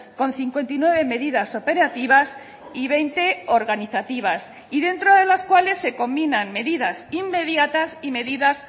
con cincuenta y nueve medidas operativas y veinte organizativas y dentro de las cuales se combinan medidas inmediatas y medidas